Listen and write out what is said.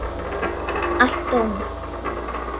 Allt ónýtt!